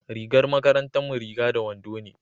rigar makarantar mu riga da wando ne